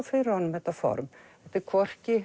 fyrir honum þetta form þetta er hvorki